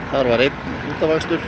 þar var einn útaf akstur